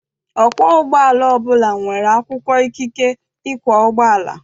Ọkwọ ụgbọala ọbụla nwere akwụkwọ ikike ịkwọ ụgbọala.